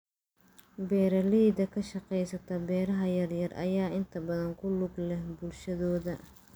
Beeraleyda ka shaqeysa beeraha yar yar ayaa inta badan ku lug leh bulshadooda.